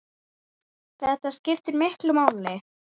Þetta skiptir miklu máli.